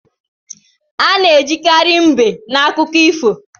Ana ejikari mbe na akọ akụkọ ifo.